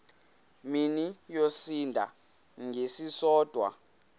mini yosinda ngesisodwa